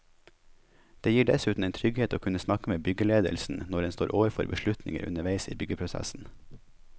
Det gir dessuten en trygghet å kunne snakke med byggeledelsen når en står overfor beslutninger underveis i byggeprosessen.